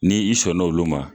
Ni i sɔn n'olu ma